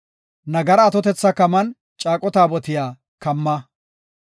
Nagara atotetha kaman Caaqo Taabotiya kamma.